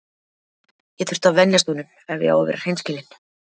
Ég þurfti að venjast honum ef ég á að vera hreinskilinn.